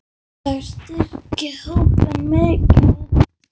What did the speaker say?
Þeir styrkja hópinn mikið.